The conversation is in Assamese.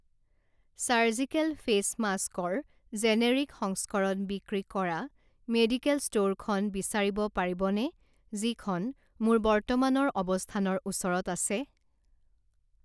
চাৰ্জিকেল ফেচ মাস্ক ৰ জেনেৰিক সংস্কৰণ বিক্ৰী কৰা মেডিকেল ষ্ট'ৰখন বিচাৰিব পাৰিবনে যিখন মোৰ বৰ্তমানৰ অৱস্থানৰ ওচৰত আছে